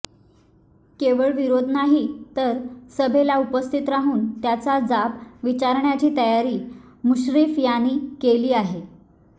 केवळ विरोध नाही तर सभेला उपस्थित राहून त्याचा जाब विचारण्याची तयारी मुश्रीफ यांनी केली आहे